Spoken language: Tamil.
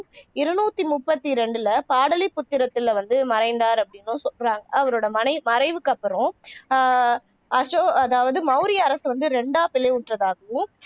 இருநூத்து முப்பத்தி ரெண்டுல பாடாலிபுத்திரத்தில வந்து மறைந்தார் அப்படின்னும் சொல்றாங்க அவரோட மறை மறைவுக்கு அப்பறம் ஆஹ் அசோக அதாவது மௌரியப் அரசு வந்து இரண்டா பிளவுற்றதாகவும்